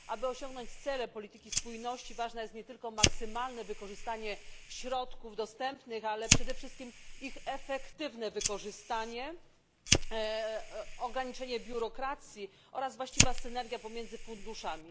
Aby osiągnąć cele polityki spójności, ważne jest nie tylko maksymalne wykorzystanie środków dostępnych, ale przede wszystkim ich efektywne wykorzystanie, ograniczenie biurokracji oraz właściwa synergia pomiędzy funduszami.